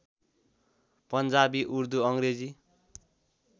Punjabi Urdu Angrezi